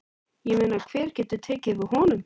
Ég meina hver getur tekið við honum?